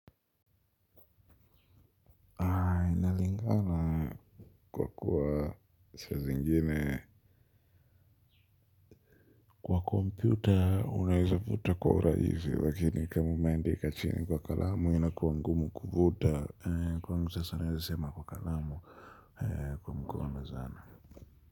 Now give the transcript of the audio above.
Inalingana kwa kuwa saa zingine kwa kompyuta unaweza futa kwa urahisi lakini kama umeandika chini kwa kalamu inakua ngumu kufuta kwangu sasa naweza sema kwa kalamu kwa mkono sana.